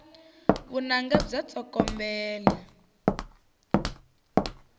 vunanga bya tsokombela